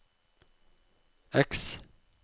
X